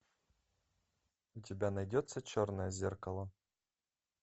у тебя найдется черное зеркало